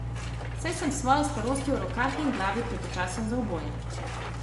Saj sem s svojo starostjo v rokah in glavi prepočasen za oboje.